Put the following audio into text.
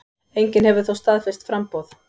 Enginn hefur þó staðfest framboð.